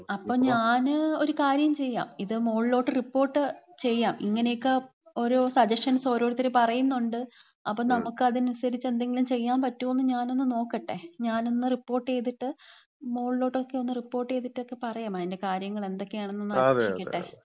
അപ്പം ഞാന് ഒരു കാര്യം ചെയ്യാം. ഇത് മോളിലോട്ട് റിപ്പോർട്ട് ചെയ്യാം. ഇങ്ങനെ ഒക്കെ ഓരോ സജഷൻസ് ഓരോരുത്തര് പറയുന്നുണ്ട്. അപ്പം നമ്മക്ക് അതിനനുസരിച്ച് എന്തെങ്കിലും ചെയ്യാൻ പറ്റോന്ന് ഞാനൊന്ന് നോക്കട്ടെ. ഞാനൊന്ന് റിപ്പോർട്ട് ചെയ്തിട്ട്, മോളിലോട്ട് ഒക്കെ റിപ്പോർട്ട് ചെയ്തിട്ടക്ക പറയാം. അതിന്‍റെ കാര്യങ്ങൾ, എന്തൊക്കെയാണെന്നൊന്ന് അന്വേഷിക്കട്ടെ.